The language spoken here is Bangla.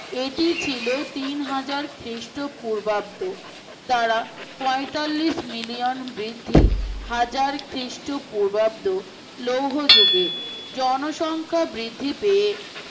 এটি ছিল তিনহাজার খ্রীষ্ট পূর্বাব্দ দ্বারা পয়তাল্লিশ মিলিয়ন বৃদ্ধি হাজার খ্রীষ্ট পূর্বাব্দ লৌহ যুগে জনসংখ্যা বৃদ্ধি পেয়ে